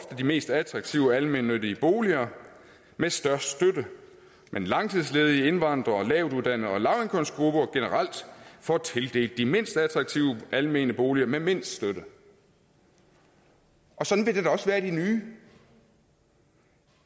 de mest attraktive almennyttige boliger med størst støtte men langtidsledige indvandrere lavtuddannede og lavindkomstgrupper generelt får tildelt de mindst attraktive almennyttige boliger med mindst støtte og sådan vil det da også være i de nye